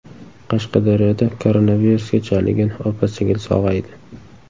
Qashqadaryoda koronavirusga chalingan opa-singil sog‘aydi.